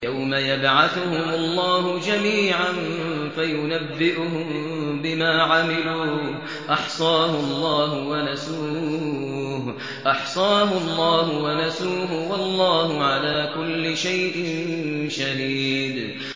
يَوْمَ يَبْعَثُهُمُ اللَّهُ جَمِيعًا فَيُنَبِّئُهُم بِمَا عَمِلُوا ۚ أَحْصَاهُ اللَّهُ وَنَسُوهُ ۚ وَاللَّهُ عَلَىٰ كُلِّ شَيْءٍ شَهِيدٌ